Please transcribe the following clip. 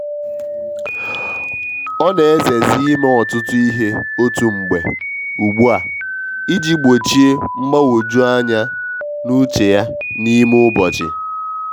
o na eze zi ime ọtụtụ ihe otu mgbe ugbu a i ji gbochie mgbanwoju anya n’uche ya n’ime ụbọchị.